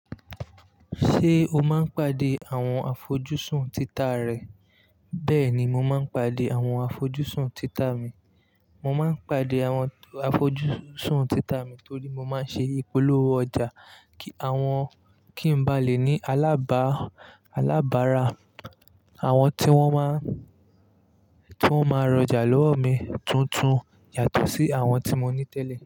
Ṣé o máa ń pàdé àwọn afójùsùn títa rẹ? Bẹ́ẹ̀ ni, mo máa ń pàdé àwọn afójùsùn títa mi. Mo máa ń pàdé àwọn afójùsùn títa mi torí mo máa ń ṣe ìpolówó ọjà. Kí àwọn kí n ba lè ní alábá alábara. Àwọn tí wọ́n máa, tí wọ́n máa rọjà lọ́wọ́ mi tuntun yàtọ̀ sí àwọn tí mo ní tẹ́lẹ̀